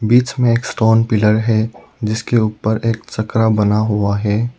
बीच में एक stone pillar है जिसके ऊपर एक चक्ररा बना हुआ है।